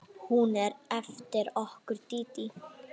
Hún er eftir okkur Dídí.